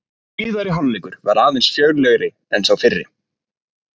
Síðari hálfleikur var aðeins fjörlegri en sá fyrri.